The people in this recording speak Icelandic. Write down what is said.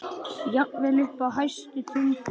Jafnvel uppi á hæstu tindum.